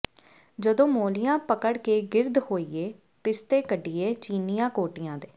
ਜਦੋਂ ਮੋਲ੍ਹੀਆਂ ਪਕੜ ਕੇ ਗਿਰਦ ਹੋਈਏ ਪਿਸਤੇ ਕਢੀਏ ਚੀਨਿਆਂ ਕੋਟਿਆਂ ਦੇ